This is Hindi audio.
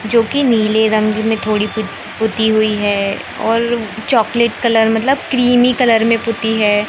जोकि नीले रंग में थोड़ी पु पुती हुई है और चॉकलेट कलर मतलब क्रीमी कलर में पुती है।